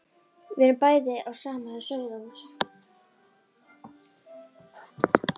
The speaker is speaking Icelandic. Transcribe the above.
Við erum bæði af sama sauðahúsi.